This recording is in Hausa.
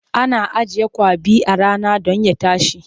Ana ajiye kwaɓi a rana don ya tashi.